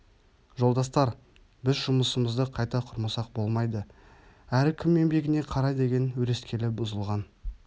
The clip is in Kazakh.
жолдастар біз жұмысымызды қайта құрмасақ болмайды әрі кім еңбегіне қарай деген өрескелі бұзылған